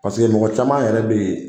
Paseke mɔgɔ caman yɛrɛ be yen